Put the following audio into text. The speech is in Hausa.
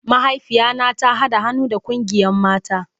Mahaifiya na ta hada han'nu da kungiyan mata.